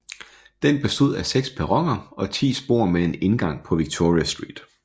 Den bestod af seks perroner og ti spor med en indgang på Victoria Street